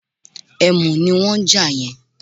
Ẹ̀mù ní wọ́n ń jà yẹn